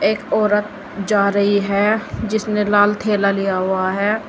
एक औरत जा रही है जिसने लाल थैला लिया हुआ है।